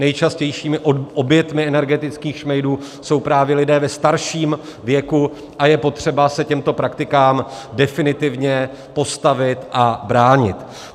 Nejčastějšími oběťmi energetických šmejdů jsou právě lidé ve starším věku a je potřeba se těmto praktikám definitivně postavit a bránit.